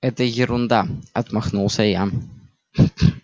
это ерунда отмахнулся я